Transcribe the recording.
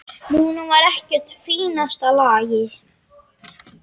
Núna var ekkert í fínasta lagi.